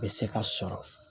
Bɛ se ka sɔrɔ